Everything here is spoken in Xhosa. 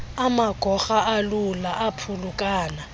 amagorha alula aphulukana